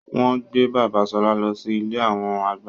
Wọn gbé bàbà Ṣọlá lọ sí ilé awọn àgbà